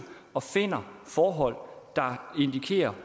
og finder forhold der indikerer